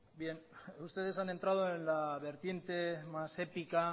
bien ustedes han entrado en la vertiente más épica